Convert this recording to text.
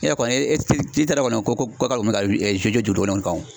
E yɛrɛ kɔni e e t'a don kɔni ko ko k'ale kun be ka kan o